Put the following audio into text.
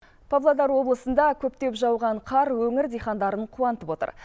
павлодар облысында көктеп жауған қар өңір диқандарын қуантып отыр